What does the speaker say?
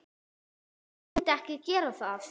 Hver myndi ekki gera það?